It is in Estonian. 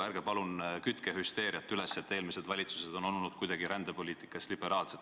Ärge palun kütke hüsteeriat üles, nagu oleksid eelmised valitsused olnud rändepoliitikas kuidagi liberaalsed.